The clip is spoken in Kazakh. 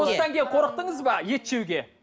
осыдан кейін қорықтыңыз ба ет жеуге